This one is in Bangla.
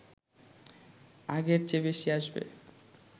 আগের চেয়ে বেশি আসবে